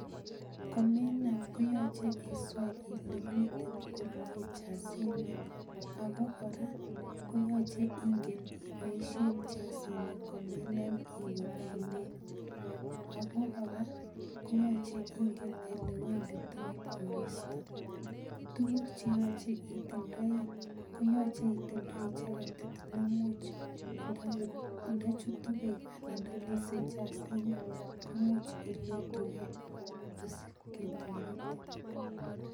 Komenam koyoche iswee ilee miten komnye jasini, ak ko kora koyoche ing'en iboishen jasini komenam iwee oinet ak ko kora koyoche inai olewenditoi koristo, tukuk cheyoche itindoi koyoche itindoi cheketit nemuch ndochutu beek anan ndolise jasini komuch ilotukee asiketoretin.